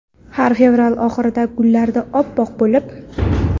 Har fevral oxirida gullardi oppoq bo‘lib.